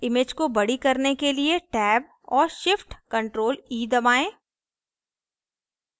image को बड़ी करने के लिए tab और shift + ctrl + e दबाएँ